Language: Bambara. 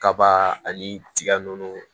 Kaba ani tiga nunnu